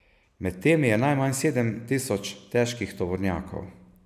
Med temi je najmanj sedem tisoč težkih tovornjakov.